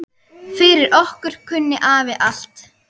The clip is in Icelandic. Fyrir okkur kunni afi allt.